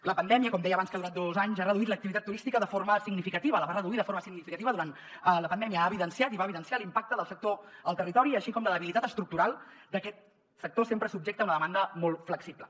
la pandèmia com deia abans que ha durat dos anys ha reduït l’activitat turística de forma significativa la va reduir de forma significativa durant la pandèmia ha evidenciat i va evidenciar l’impacte del sector al territori així com la debilitat estructural d’aquest sector sempre subjecte a una demanda molt flexible